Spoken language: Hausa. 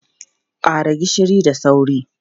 Ƙara gishiri da sauri!